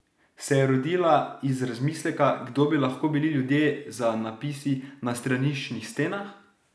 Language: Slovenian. Se je rodila iz razmisleka, kdo bi lahko bili ljudje za napisi na straniščnih stenah?